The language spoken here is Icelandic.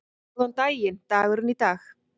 Góðan daginn dagurinn í dag